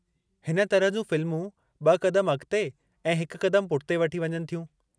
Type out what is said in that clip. हिन तरह जूं फ़िल्मूं ब॒ क़दम अॻु ते ऐं हिकु क़दमु पुठिते वठी वञनि थियूं।